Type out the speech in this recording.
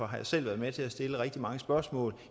har selv været med til at stille rigtig mange spørgsmål